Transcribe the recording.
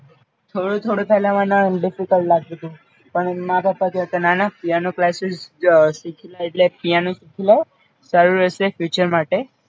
થોડું થોડું પેલા મને અ Difficulty લાગતુતુ પણ મારા પપ્પા કે ના ના પિઆનો ક્લાસીસઅ સીખી લે એટલે પિઆનો શીખી લે સારું રેશે Future માટે